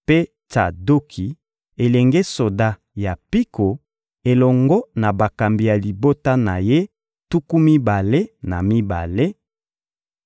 mpe Tsadoki, elenge soda ya mpiko elongo na bakambi ya libota na ye tuku mibale na mibale;